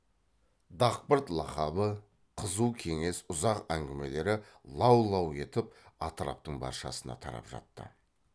дақпырт лақабы қызу кеңес ұзақ әңгімелері лау лау етіп атыраптың баршасына тарап жатты